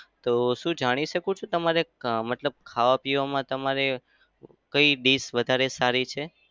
તો શું જાણી શકું છું તમારે અમ મતલબ ખાવા-પીવામાં તમારે કઈ dish વધારે સારી છે?